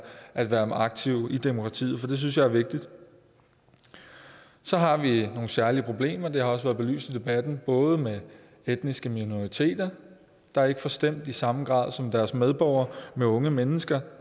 at være aktive i demokratiet det synes jeg er vigtigt så har vi nogle særlige problemer og det har også været belyst i debatten både med etniske minoriteter der ikke får stemt i samme grad som deres medborgere og med unge mennesker